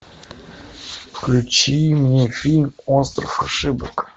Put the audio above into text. включи мне фильм остров ошибок